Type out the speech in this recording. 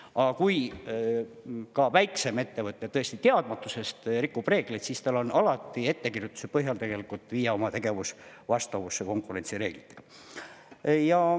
Aga kui ka väiksem ettevõte tõesti teadmatusest rikub reegleid, siis tal on alati võimalik ettekirjutuse põhjal tegelikult viia oma tegevus vastavusse konkurentsireeglitega.